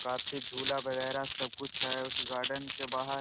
काफी झूला वगैरा सब कुछ है उस गार्डेन के बाहर --